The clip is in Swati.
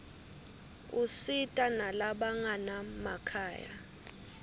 usita nalabanganamakhaya